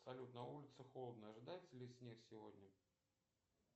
салют на улице холодно ожидается ли снег сегодня